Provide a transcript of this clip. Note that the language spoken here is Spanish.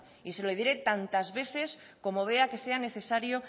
y se lo diré tantas veces como vea que sea necesario